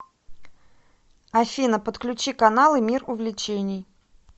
афина подключи каналы мир увлечений